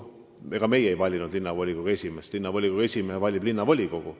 Ega meie ei vali linnavolikogu esimeest, linnavolikogu esimehe valib linnavolikogu.